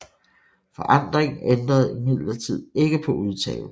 Forandringen ændrede imidlertid ikke på udtalen